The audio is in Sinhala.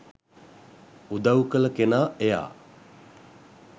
උදව් කල කෙනා එයා.